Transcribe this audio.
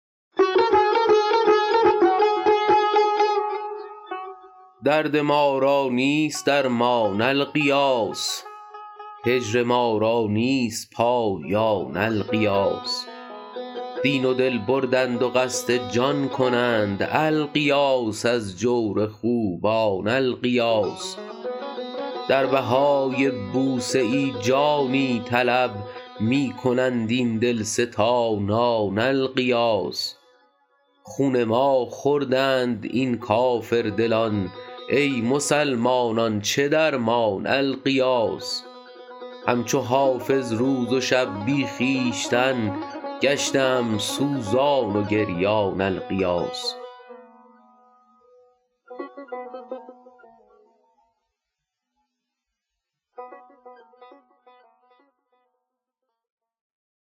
درد ما را نیست درمان الغیاث هجر ما را نیست پایان الغیاث دین و دل بردند و قصد جان کنند الغیاث از جور خوبان الغیاث در بهای بوسه ای جانی طلب می کنند این دلستانان الغیاث خون ما خوردند این کافردلان ای مسلمانان چه درمان الغیاث هم چو حافظ روز و شب بی خویشتن گشته ام سوزان و گریان الغیاث